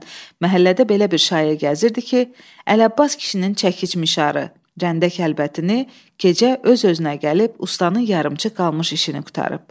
məhəllədə belə bir şayiə gəzirdi ki, Əlabbas kişinin çəkicmişarı, rəndəkəlbətini gecə öz-özünə gəlib ustanın yarımçıq qalmış işini qurtarıb.